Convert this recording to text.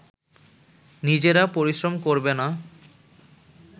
নিজেরা পরিশ্রম করবে না